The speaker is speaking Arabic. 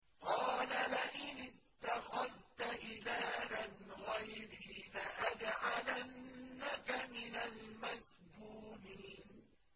قَالَ لَئِنِ اتَّخَذْتَ إِلَٰهًا غَيْرِي لَأَجْعَلَنَّكَ مِنَ الْمَسْجُونِينَ